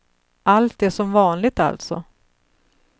Allt är som vanligt, alltså.